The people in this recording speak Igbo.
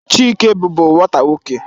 Chike bụbu nwata nwoke.